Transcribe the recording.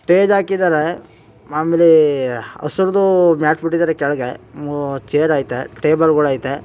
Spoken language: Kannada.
ಸ್ಟೇಜ್ ಹಾಕಿದರೆ ಮಾಮೂಲಿ ಹಸುರುದು ಮ್ಯಾಟ್ ಬಿಟ್ಟಿದ್ದಾರೆ ಕೆಳಗೆ ಚೇರ್ ಐತೆ ಟೇಬಲ್ಗಳಯ್ತೆ .